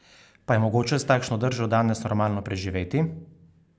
Pa je mogoče s takšno držo danes normalno preživeti?